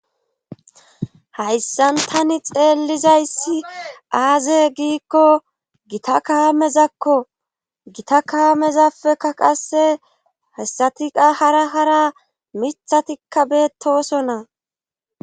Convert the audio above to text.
Hayssan tani xeellizayssi aaze giikko gita kaamezakko gita kaamezappeka qasse hayssatiqa hara hara mithatikka beettosonna.